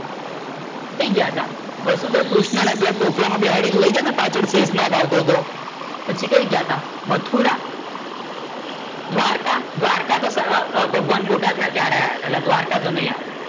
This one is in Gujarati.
કઈ ગયા હતા? વસુદેવ કૃષ્ણ ને ટોપલા માં બેસાડી ને લઇ ગયાતા ને પાછળ શેષનાગ આવતો તો પછી કઈ ગયા તા? મથુરા? દ્વારકા? દ્વારકા તો ભગવાન મોટા થયા ત્યારે આયા તા, એટલે દ્વારકા તો નઈ આવે.